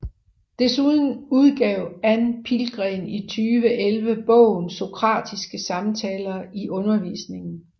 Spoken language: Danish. Desuden udgav Ann Pihlgren i 2011 bogen Sokratiske samtaler i undervisningen